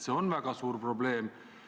See on väga suur probleem.